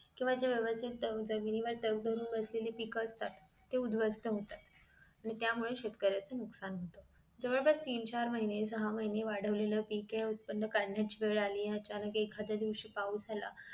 केंव्हा जी व्यवस्थित टंक~ जमीन वर टक्क धरून बसलेली पीक असतात ती उध्वस्त होतात. आणि त्यामुळे शेतकऱ्याचं नुकसान होत, जवळपास तीन चार महिने सहा महिने वाढवलेलं पीक हे उत्पन्न काढण्याची वेळ आली आहे आणि अचानक एखाद्या दिवशी पाऊस आला